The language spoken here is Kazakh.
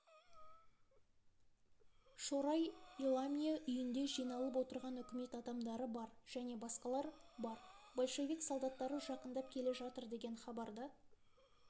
шорай иламия үйінде жиналып отырған үкімет адамдары бар және басқалар бар большевик солдаттары жақындап келе жатыр деген хабарды